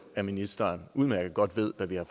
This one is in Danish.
at ministeren udmærket godt ved hvad vi har